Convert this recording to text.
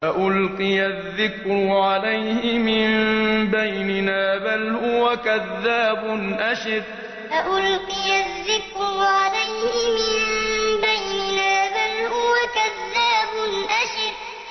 أَأُلْقِيَ الذِّكْرُ عَلَيْهِ مِن بَيْنِنَا بَلْ هُوَ كَذَّابٌ أَشِرٌ أَأُلْقِيَ الذِّكْرُ عَلَيْهِ مِن بَيْنِنَا بَلْ هُوَ كَذَّابٌ أَشِرٌ